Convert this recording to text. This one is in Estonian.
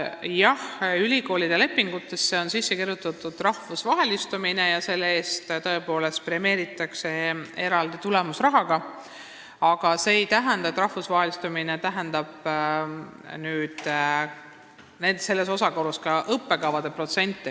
Jah, ülikoolide lepingutesse on sisse kirjutatud rahvusvahelistumine ja selle eest tõepoolest premeeritakse eraldi tulemusrahaga, aga see ei tähenda samas osakaalus ka õppekavade protsente.